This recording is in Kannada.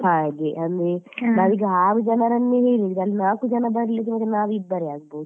ಹಾಗೆ ಅಲ್ಲಿ ನಾವ್ ಈಗ ಆರು ಜನರನ್ನು ಹೇಳಿದ್ರೆ ಅಲ್ಲಿ ನಾಲ್ಕು ಜನ ಬರದಿದ್ರೆ ಮತ್ತೆ ನಾವಿಬ್ಬರೇ ಆಗ್ಬಹುದು.